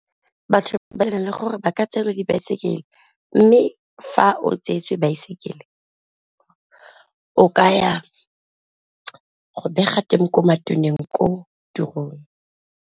Batho ba na le gore ba ka tseelwa dibaesekele, mme fa o tsweetswe baesekele o ka ya go bega teng ko matoneng ko tirong.